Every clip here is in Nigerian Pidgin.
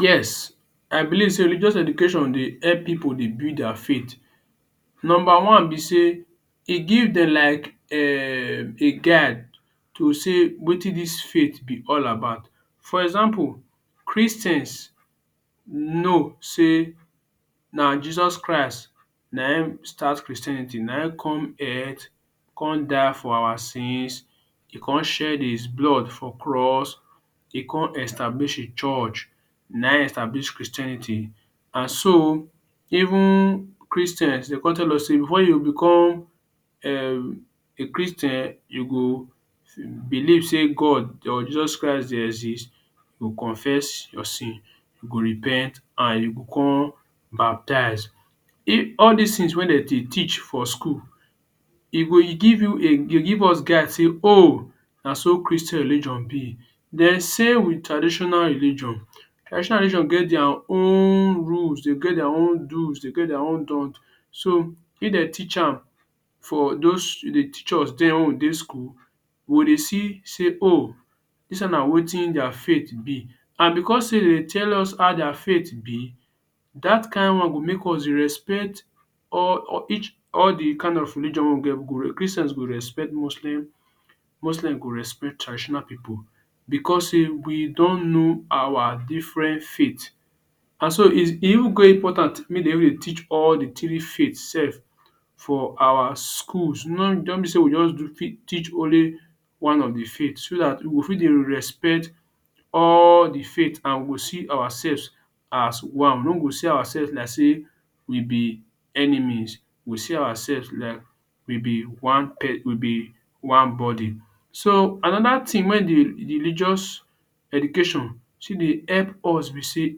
Yes, I believe sey religious education dey help pipu dey build their faith. Number one be sey e give dem like um a guide to sey wetin dis faith be all about. For example Christians know sey na Jesus Christ na im start Christianity. Na im come earth, come die for our sins, e come shed his blood for cross. E come establish hin church, na im establish Christianity and so even Christians dey come tell us sey when you become um a Christian you go believe sey God or Jesus Christ dey exist. You confess your sins, you go repent and you go con baptize. E all dis things wey dem dey teach for school, e go give you give us guide sey ooh na so Christian religion be. Den same wit traditional religion. Traditional religion get their own rules, dey get their own do’s, dey get their own don't. So if dey teach am for those teach us den wen we dey school, we go dey see sey ooh dis one na wetin their faith be and because sey dem dey tell us how their faith be dat kain one go make us dey respect all de kind of religion wey we get. We go Christians go respect Muslims, Muslims go respect traditional pipu because sey we don know our different faith. And so e even e even dey important make den jus dey teach all the three faith sef for our schools. No be sey we just teach only one of de faith so dat we go fit dey respect all de faith and we go see ourselves as one. We no go see ourselves like sey we be enemies. We go see ourselves like we be one we be one body. So another thing wey de de religious education see dey help us be sey,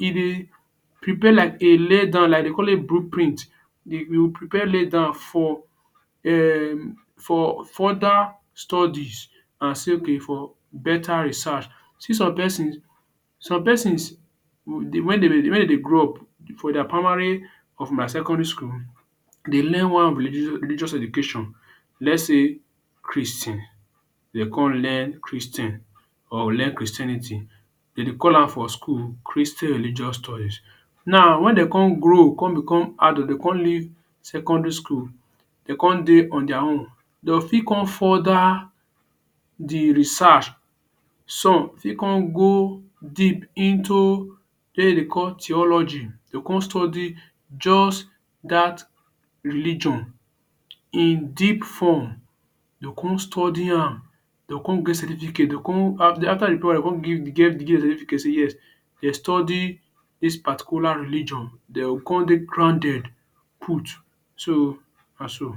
e dey prepare like a laydown, like dey call it blueprint. Dey will prepare laydown for um for further studies and say ok for better research. See some persons, some persons wen dey dey wen dey dey grow up for their primary or for my secondary school dey learn wan religious education. Let's say Christian dey come learn Christian or learn Christianity dem dey call am for school Christian Religious Studies. Now wen dey come grow, wen dey come become adult, dey come leave secondary school, dey come dey on their own, dey o fit come further de research. Some fit come go deep into way dem dey call theology. Dey come study just dat religion in deep form. You go come study am, dey come get certificate, dey come after the program dey come certificate say yes dey study dis particular religion. Dey go con dey grounded put. So na so.